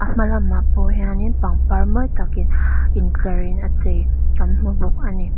hmalamah pawh hianin pangpar mawi takin intlarin a chei kan hmu bawk ani.